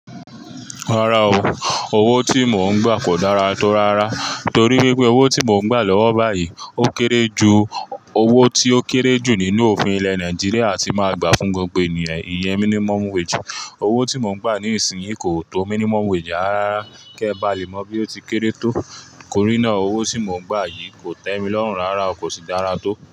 Rárá o, owó tí mò ń gbà kò dára tó rárá torí wípé owó tí mò ń gbà lọ́wọ́ báyìí ó kéré ju owó tí ó kéré jù nínú òfin ilẹ̀ Nàìjíríà tí màá gbà fún gbogbo ènìyàn, ìyẹn minimum wage. Owó tí mò ń gbà ní ìsìnyí kò tó minimum wage, àrá rárá kíẹ bá lè mọ bí ó ti kéré tó. Kórínà owó tí mò ń gbà yìí kò tẹ́ mi lọ́hùn rárá, kò sì dára tó.